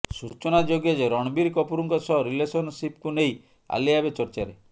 ସୂଚନାଯୋଗ୍ୟ ଯେ ରଣବୀର କପୁରଙ୍କ ସହ ରିଲେସନ୍ ସିପ୍କୁ ନେଇ ଆଲିଆ ଏବେ ଚର୍ଚ୍ଚାରେ